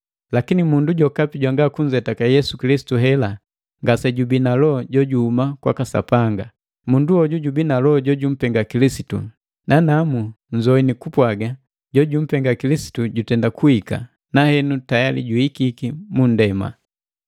Lakini mundu jokapi jwanga kunzetake Yesu Kilisitu hela, ngasejubii na loho jojuhuma kwaka Sapanga. Mundu hoju jubii na loho jojumpenga Kilisitu; nanamu nzoini kupwaga jojumpenga Kilisitu jutenda kuhika, na henu tayali juhikiki munndema.